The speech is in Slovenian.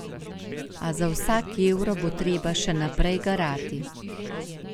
A za vsak evro bo treba še naprej garati.